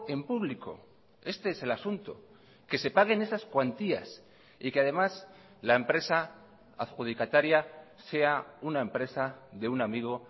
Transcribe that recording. en público este es el asunto que se paguen esas cuantías y que además la empresa adjudicataria sea una empresa de un amigo